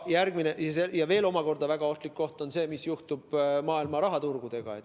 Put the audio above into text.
Omakorda veel väga ohtlik koht on see, mis juhtub maailma rahaturgudega.